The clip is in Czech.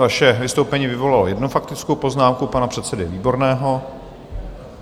Vaše vystoupení vyvolalo jednu faktickou poznámku pana předsedy Výborného.